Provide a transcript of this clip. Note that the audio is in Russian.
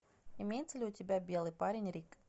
имеется ли у тебя белый парень рик